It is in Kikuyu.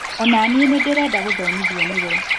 Ona niĩ nĩndĩrenda gũthomithio nĩwe